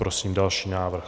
Prosím další návrh.